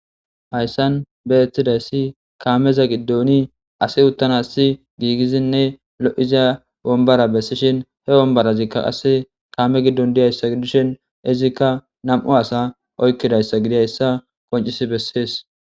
Hayssan be ettidayssi kaameza giddoni asi uttanassi giigizinne lo'iza bombara bessishin he bombarazikka qasse kaame giddon diyayssa dishin izikka nam'u asa oykkidayssa gidayssa qoncis bessees.